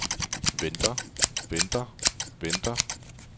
venter venter venter